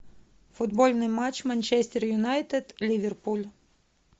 футбольный матч манчестер юнайтед ливерпуль